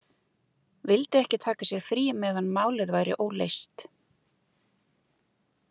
Vildi ekki taka sér frí meðan málið væri óleyst.